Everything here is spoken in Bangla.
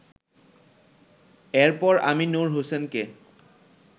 এরপর আমি নূর হোসেনকে